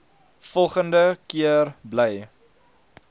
volgende keer bly